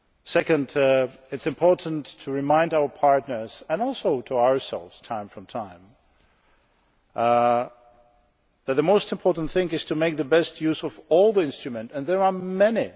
Secondly, it is important to remind our partners, and also ourselves from time to time, that the most important thing is to make the best use of all the instruments, of which there are many.